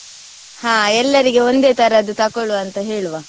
ಹಾ ಎಲ್ಲರಿಗೆ ಒಂದೆ ತರದ್ದು ತಕೊಳ್ಳುವ ಅಂತ ಹೇಳುವ.